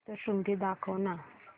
सप्तशृंगी दाखव ना